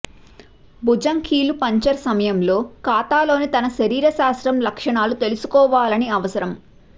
భుజం కీలు పంక్చర్ సమయంలో ఖాతాలోకి తన శరీరశాస్త్రం లక్షణాలు తీసుకోవాలని అవసరం